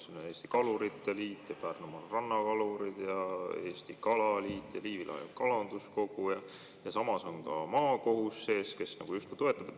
Siin on Eesti Kalurite Liit, Pärnu Rannakalurid, Eesti Kalaliit ja Liivi Lahe Kalanduskogu ning samas on ka maakohus siin sees, kes justkui toetab.